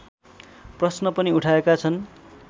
प्रश्न पनि उठाएका छन्